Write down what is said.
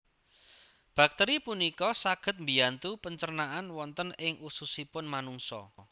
Bakteri punika saged mbiyantu pencernaan wonten ing ususipun manungsa